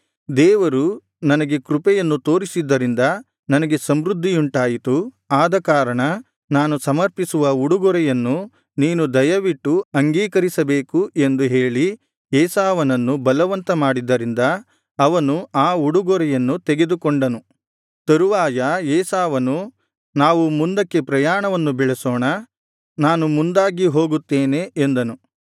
ದೇವರು ನನಗೆ ಕೃಪೆಯನ್ನು ತೋರಿದ್ದರಿಂದ ನನಗೆ ಸಮೃದ್ಧಿಯುಂಟಾಯಿತು ಆದಕಾರಣ ನಾನು ಸಮರ್ಪಿಸುವ ಉಡುಗೊರೆಯನ್ನು ನೀನು ದಯವಿಟ್ಟು ಅಂಗೀಕರಿಸಬೇಕು ಎಂದು ಹೇಳಿ ಏಸಾವನನ್ನು ಬಲವಂತ ಮಾಡಿದ್ದರಿಂದ ಅವನು ಆ ಉಡುಗೊರೆಯನ್ನು ತೆಗೆದುಕೊಂಡನು